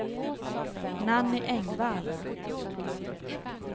Nanny Engvall